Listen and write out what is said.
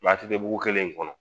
a tɛ kɛ dugu kelen in kɔnɔ